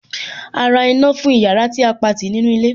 A ra iná fún ìyára tí a Pati ní inú ilé.